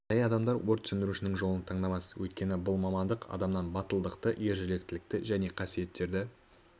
жай адамдар өрт сөндірушінің жолын таңдамас өйткені бұл мамндық адамнан батылдықты ержүректілікті және қасиеттерді